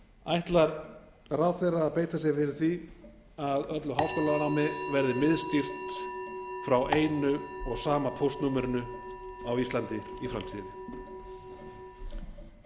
ætlar ráðherra að beita sér fyrir því að öllu háskólanámi verði miðstýrt frá einu og sama póstnúmerinu á íslandi í framtíðinni